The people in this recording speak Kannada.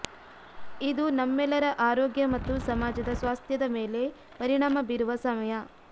ಇದು ನಮ್ಮೆಲ್ಲರ ಆರೋಗ್ಯ ಮತ್ತು ಸಮಾಜದ ಸ್ವಾಸ್ಥ್ಯದ ಮೇಲೆ ಪರಿಣಾಮ ಬೀರುವ ಸಮಯ